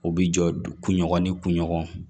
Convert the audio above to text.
U bi jɔ kun ɲɔgɔn ni kunɲɔgɔn